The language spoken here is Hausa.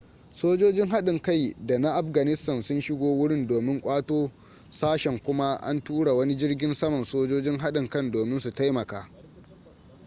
sojojin haɗin kai da na afganistan sun shiga wurin domin ƙwato sashen kuma an tura wani jirgin saman sojojin haɗin kan domin su taimaka